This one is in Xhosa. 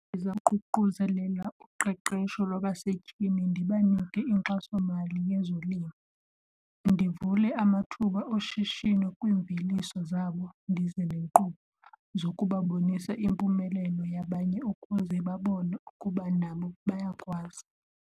Ndizaququzelela uqeqesho lwabasetyhini, ndibanike inkxasomali yezolimo, ndivule amathuba oshishino kwiimveliso zabo, ndize neenkqubo zokubabonisa impumelelo yabanye ukuze babone ukuba nabo bayakwazi.